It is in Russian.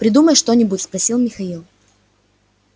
придумай что-нибудь спросил михаил